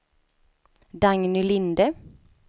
Dagny Linde